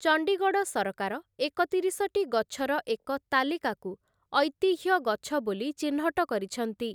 ଚଣ୍ଡିଗଡ଼ ସରକାର ଏକତିରିଶଟି ଗଛର ଏକ ତାଲିକାକୁ ଐତିହ୍ୟ ଗଛ ବୋଲି ଚିହ୍ନଟ କରିଛନ୍ତି ।